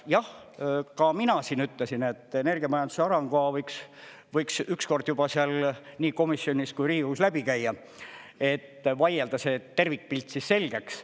Jah, ka mina siin ütlesin, et energiamajanduse arengukava võiks ükskord juba seal nii komisjonis kui Riigikogus läbi käia, et vaielda see tervikpilt selgeks.